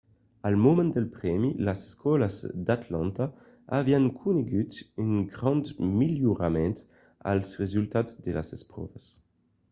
al moment del prèmi las escòlas d’atlanta avián conegut un grand melhorament als resultats de las espròvas